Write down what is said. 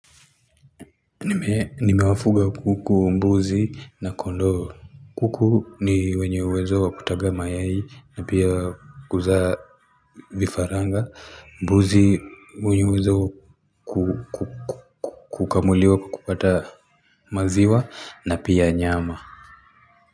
Nimewafuga kuku mbuzi na kondoo kuku ni wenye uwezo wa kutaga mayai na pia kuzaa vifaranga. Mbuzi wenye uwezo wa kukamuliwa kupata maziwa na pia nyama.